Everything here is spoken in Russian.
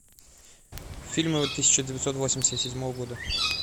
фильмы тысяча девятьсот восемьдесят седьмого года